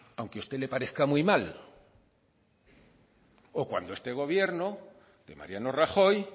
aunque a usted le parezca muy mal o cuando este gobierno de mariano rajoy